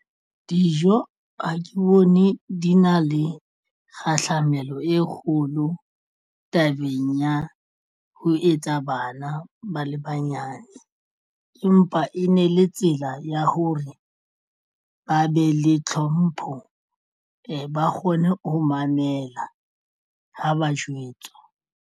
Dijo ha ke bone di na le kgahlamelo e kgolo tabeng ya ho etsa bana ba le banyane empa e ne le tsela ya hore ba be le tlhompho ba kgone ho mamela ha ba jwetswa.